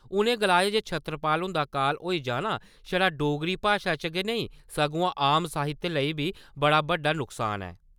उ'नें गलाया जे छतरपाल हुंदा काल होई जाना छड़ा डोगरी भाशा च गै नेईं सगुआं आम साहित्य लेई बी बड़ा बड्डा नकसान ऐ ।